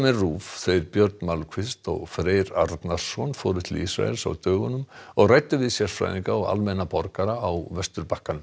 RÚV þeir Björn Malmquist og Freyr Arnarson fóru til Ísraels á dögunum og ræddu við sérfræðinga og almenna borgara á Vesturbakkanum